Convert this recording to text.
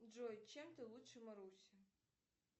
джой чем ты лучше маруси